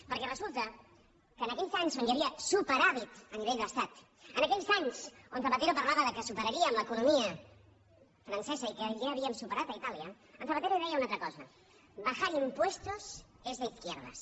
perquè resulta que en aquells anys on hi havia superàvit a nivell d’estat en aquells anys on zapatero parlava que superaríem l’economia francesa i que ja havíem superat itàlia en zapatero deia una altra cosa bajar impuestos es de izquierdas